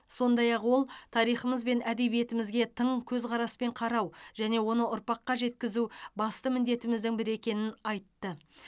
сондай ақ ол тарихымыз бен әдебиетімізге тың көзқараспен қарау және оны ұрпаққа жеткізу басты міндетіміздің бірі екенін айтты